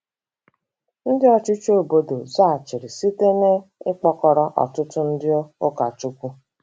Ndị ọchịchị obodo zaghachiri site n'ịkpụkọrọ ọtụtụ ndị ụkọchukwu.